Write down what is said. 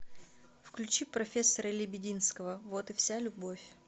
включи профессора лебединского вот и вся любовь